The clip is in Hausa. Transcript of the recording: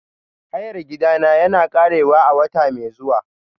Hayar gidana yana ƙarewa a wata mai zuwa.